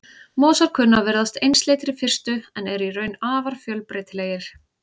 Mosar kunna að virðast einsleitir í fyrstu en eru í raun afar fjölbreytilegir.